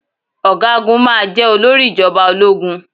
Ọ̀gágun máa jeh olórí ìjọba ológun.